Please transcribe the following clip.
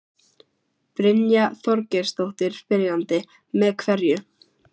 Brynja Þorgeirsdóttir, spyrjandi: Með hverju?